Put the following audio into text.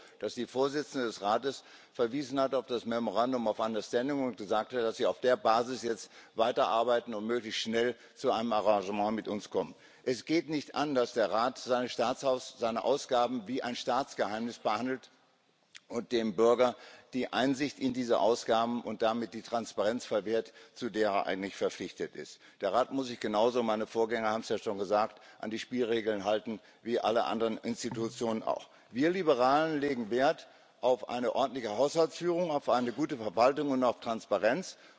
Ich bin froh, dass die Vorsitzende des Rates auf das memorandum of understanding verwiesen hat und gesagt hat, dass sie auf der Basis jetzt weiterarbeiten und möglichst schnell zu einem Arrangement mit uns kommen möchte. Es geht nicht an, dass der Rat seine Ausgaben wie ein Staatsgeheimnis behandelt und dem Bürger die Einsicht in diese Ausgaben und damit die Transparenz verwehrt, zu der er eigentlich verpflichtet ist. Der Rat muss sich genauso meine Vorgänger haben es ja schon gesagt an die Spielregeln halten wie alle anderen Institutionen auch. Wir Liberalen legen Wert auf eine ordentliche Haushaltsführung, auf eine gute Verwaltung und auf Transparenz.